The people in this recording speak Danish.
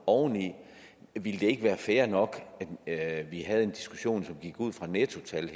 oveni ville det ikke være fair nok at vi havde diskussionen som gik ud fra nettotal